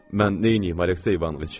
Mən neyniyim, Aleksey İvanoviç?